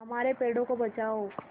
हमारे पेड़ों को बचाओ